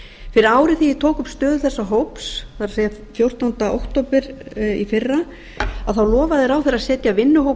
fyrir ári þegar ég tók upp stöðu þessa hóps það er fjórtánda október tvö þúsund og fjögur lofaði ráðherra að setja vinnuhóp